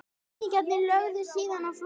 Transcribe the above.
Ræningjarnir lögðu síðan á flótta